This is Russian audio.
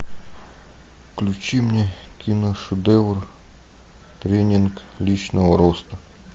включи мне киношедевр тренинг личного роста